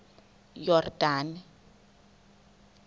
yordane